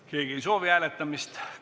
Keegi hääletamist ei soovi.